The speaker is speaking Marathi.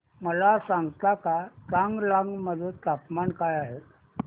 मला सांगता का चांगलांग मध्ये तापमान काय आहे